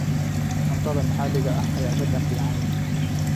Cuntada maxalliga ah ayaa dhadhan fiican leh.